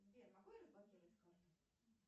сбер могу я заблокировать карту